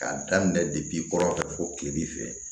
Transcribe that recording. K'a daminɛ kɔrɔ kile bi fɛ